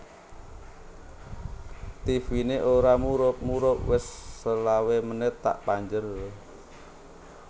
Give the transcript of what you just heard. Tivine ora murup murup wis selawe menit tak panjer